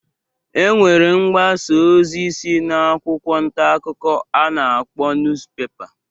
E nwere mgbasa osi si na akwụkwọ ntakụkọ a na-akpọ nuspepa.